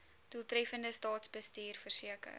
doeltreffende staatsbestuur verseker